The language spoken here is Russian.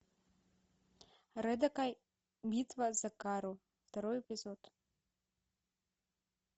рэдакай битва за кайру второй эпизод